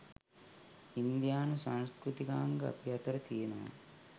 ඉන්දියානු සංස්කෘතිකාංග අපි අතර තියනවා.